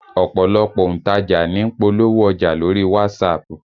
Ọ̀pọ̀lọpọ̀ òǹtajà ní ń polówó ọjà lórí WhatsApp